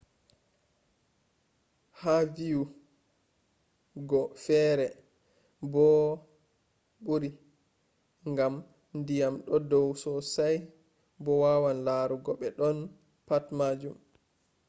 ha viyu go fere bori gam ndyiam do dau sosai bo a wawan larugo be boddon- patt majun